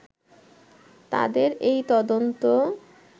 তাদের এই তদন্ত